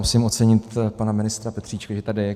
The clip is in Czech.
Musím ocenit pana ministra Petříčka, že tady je.